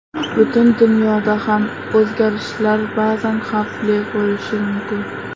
Butun dunyoda ham o‘zgarishlar ba’zan xavfli bo‘lishi mumkin.